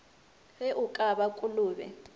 ge o ka ba kolobe